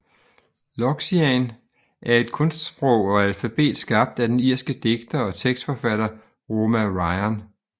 Loxian er et kunstsprog og alfabet skabt af den irske digter og tekstforfatter Roma Ryan